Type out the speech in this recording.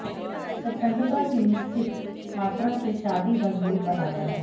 स्वतंत्रता की निश्चित मात्रा से शादी मजबूत बनाता है